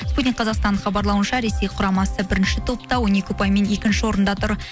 спутник қазақстан хабарлауынша ресей құрамасы бірінші топта он екі ұпаймен екінші орында тұр